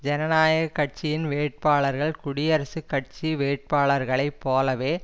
ஜனநாயக கட்சியின் வேட்பாளர்கள் குடியரசுக் கட்சி வேட்பாளர்களை போலவே